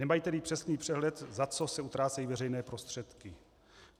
Nemají tedy přesný přehled, za co se utrácejí veřejné prostředky.